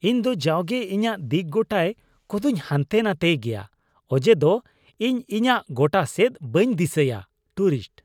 ᱤᱧ ᱫᱚ ᱡᱟᱣᱜᱮ ᱤᱧᱟᱹᱜ ᱫᱤᱠ ᱜᱚᱴᱟᱭ ᱠᱚᱫᱩᱧ ᱦᱟᱱᱛᱮᱼᱱᱟᱛᱮᱭ ᱜᱮᱭᱟ ᱚᱡᱮᱫᱚ ᱤᱧ ᱤᱧᱟᱹᱜ ᱜᱚᱴᱟ ᱥᱮᱫ ᱵᱟᱹᱧ ᱫᱤᱥᱟᱹᱭᱟ ᱾ (ᱴᱩᱨᱤᱥᱴ)